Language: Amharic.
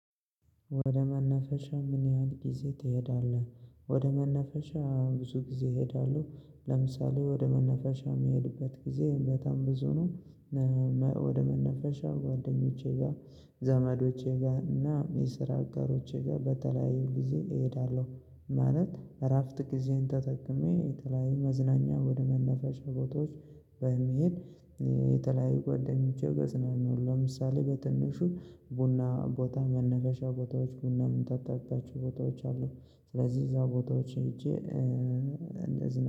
ወደ መናፈሻ ምን ያህል ጊዜ ትሄዳለህ? ወደ መነፈሻ ብዙ ጊዜ ይሄዳሁ። ለምሳሌ ወደ መናፈሻ የሚሄድበት ጊዜ በጣም ብዙ ነው። ወደ መናፈሻ ጓደኞቼ ጋር፣ ዘመዶቼ ጋር እና የስራ አጋሮቼ ጋር በተለያዩ ጊዜ እሄዳለሁ። ማለት እረፍት ጊዜን ተጠቅሜ የተለያየ መዝናኛ ወደ መናፈሻ ቦታዎች በመሄድ ጓደኞቼ ገጽናል ነው ለምሳሌ በትንሹ ቡና ቦታ፣ መናፈሻ ቦታዎች፣ ቡና ምንጠጣባቸው ቦታዎች አሉ ስለዚህ እዛ ቦታዎች ሄጄ እንዝናና